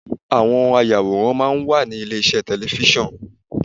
Àwọn ayàwòrán máa ń wà ní ilé iṣẹ́ tẹlẹfísọ̀n.